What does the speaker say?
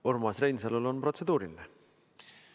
Urmas Reinsalul on protseduuriline küsimus.